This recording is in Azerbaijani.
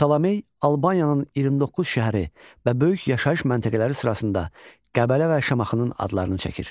Ptolemey Albaniyanın 29 şəhəri və böyük yaşayış məntəqələri sırasında Qəbələ və Şamaxının adlarını çəkir.